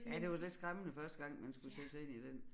Ja det var lidt skræmmende første gang man skulle sætte sig ind i den